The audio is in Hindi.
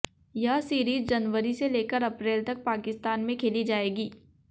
यह सीरीज जनवरी से लेकर अप्रैल तक पाकिस्तान में खेली जाएगी